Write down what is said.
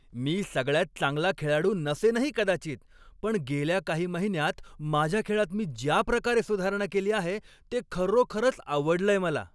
मी सगळ्यात चांगला खेळाडू नसेनही कदाचित, पण गेल्या काही महिन्यांत माझ्या खेळात मी ज्या प्रकारे सुधारणा केली आहे ते खरोखरंच आवडलंय मला.